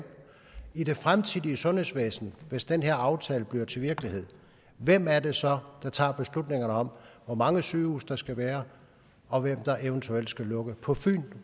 i det fremtidige sundhedsvæsen hvis den her aftale bliver til virkelighed hvem er det så der tager beslutningerne om hvor mange sygehuse der skal være og hvem der eventuelt skal lukkes på fyn